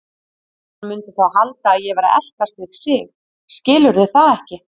Hann mundi þá halda að ég væri að eltast við sig, skilurðu það ekki?